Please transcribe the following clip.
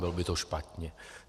Bylo by to špatně.